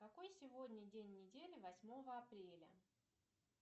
какой сегодня день недели восьмого апреля